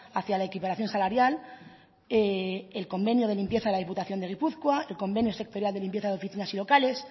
hacia la equiparación salarial el convenio de limpieza de la diputación de gipuzkoa el convenio sectorial de limpieza y oficinas y locales